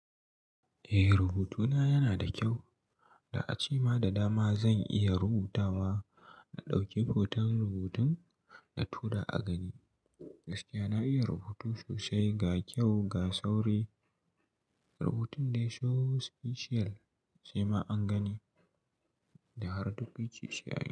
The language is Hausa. Eh, rubutuna yana da kyau. Da a ce ma da dama zan iya rubutawa, na ɗauki hoton rubutun na tura a gani. Gaskiya na iya rubutu sosai ga kyau ga sauri. Rubutun dai so special sai ma an gani da har duk wuce sai an.